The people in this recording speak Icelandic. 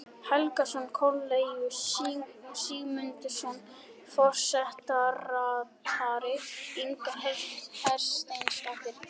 Helgason, Kornelíus Sigmundsson forsetaritari og Inga Hersteinsdóttir